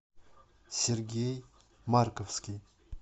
сергей марковский